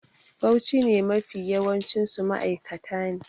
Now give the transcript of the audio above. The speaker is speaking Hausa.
Bauchi sh ne Mafi yawancinsu ma'aikata ne